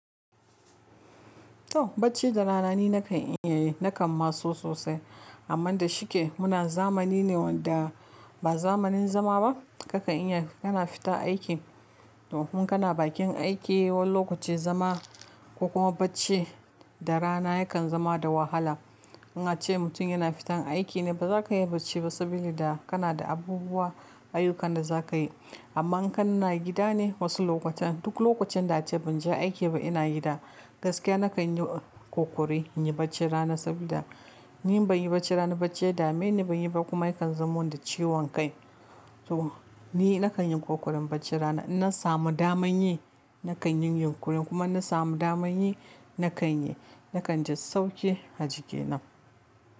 To bacci da rana ni na kan yi, na kan ma so sosai. Amma da shike muna zamani ne wanda ba zamanin zama ba. Ka kan iya kana fita aiki. To in kana bakin aiki wani lokaci zama ko kuma bacci da rana yakan zama da wahala. In ace mutum yana fita aiki ne ba za ka yi bacci ba saboda kana da abubuwa, ayyukan da za ka yi. Amma in kana gida ne wasu lokutan, duk lokacin da ace ban je aiki ba ina yi da gaskiya na kan yi ƙoƙari, in yi bacci rana saboda ni in ban yi bacci rana ba bacci ya dame ni ban yi ba kuma yakan zamo da ciwon kai. To ni na kan yi ƙoƙarin bacci rana. In na samu daman yi na kan yin yunƙuri kuma in na samu daman yi na kan yi. Na kan ji sauki, ajiki na.